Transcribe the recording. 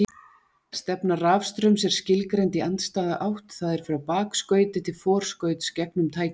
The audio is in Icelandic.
Stefna rafstraums er skilgreind í andstæða átt, það er frá bakskauti til forskauts gegnum tækið.